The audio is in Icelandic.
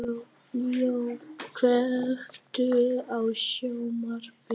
Leo, kveiktu á sjónvarpinu.